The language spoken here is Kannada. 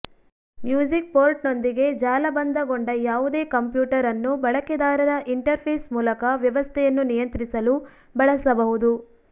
ಮ್ಯೂಸಿಕ್ ಪೋರ್ಟ್ನೊಂದಿಗೆ ಜಾಲಬಂಧಗೊಂಡ ಯಾವುದೇ ಕಂಪ್ಯೂಟರ್ ಅನ್ನು ಬಳಕೆದಾರರ ಇಂಟರ್ಫೇಸ್ ಮೂಲಕ ವ್ಯವಸ್ಥೆಯನ್ನು ನಿಯಂತ್ರಿಸಲು ಬಳಸಬಹುದು